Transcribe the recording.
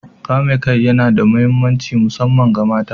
Kame kai yana da mahimmanci musamman ga mata.